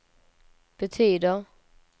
betyder